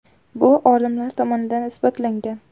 Bu olimlar tomonidan isbotlangan.